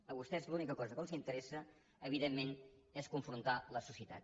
a vostès l’única cosa que els interessa evidentment és confrontar la societat